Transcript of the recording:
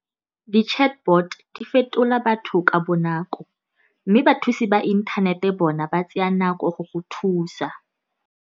Di-chatbot di fetola batho ka bonako, mme bathusi ba inthanete bona ba tsaya nako go go thusa.